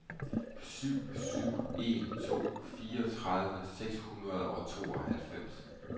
syv syv en to fireogtredive seks hundrede og tooghalvfems